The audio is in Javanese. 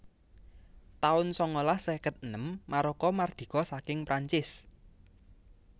taun sangalas seket enem Maroko mardika saking Prancis